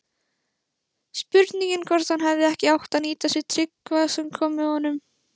Spurning hvort hann hefði ekki átt að nýta sér Tryggva sem kom með honum?